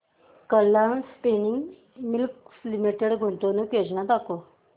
Kalam Spinning Mills Limited गुंतवणूक योजना दाखव